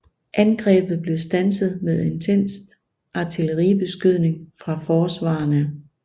Angrebet blev standset med intens artilleribeskydning fra forsvarerne